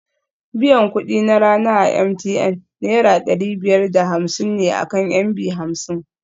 Biyan kuɗi na rana a MTN Naira ɗari biyar da hamsin ne akan MB hamsin